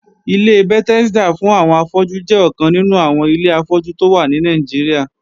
Ilé Bethesda fún àwọn afọ́jú jẹ́ ọkàn nínú àwọn ilé afọ́jú tó wà ní Nàìjíríà